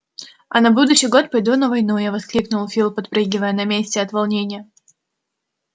а на будущий год пойду на войну я воскликнул фил подпрыгивая на месте от волнения